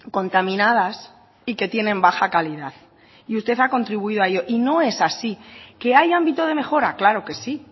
contaminadas y que tienen baja calidad y usted ha contribuido a ello y no es así que hay ámbito de mejora claro que sí